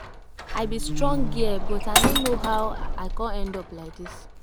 I be strong girl but I no know how I come end up like dis